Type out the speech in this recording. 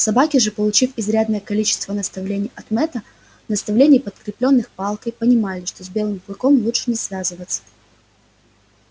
собаки же получив изрядное количество наставлений от мэтта наставлений подкреплённых палкой понимали что с белым клыком лучше не связываться